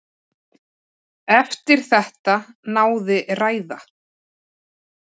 Eftir þetta náði ræða